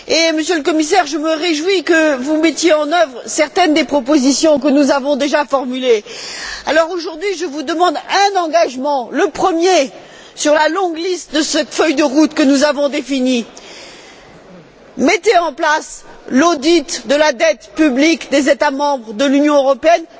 Monsieur le Commissaire, je me réjouis que vous mettiez en œuvre certaines des propositions que nous avons déjà formulées. Aujourd'hui, je vous demande un engagement, le premier sur la longue liste de cette feuille de route que nous avons définie mettez en place l'audit de la dette publique des États membres de l'Union européenne.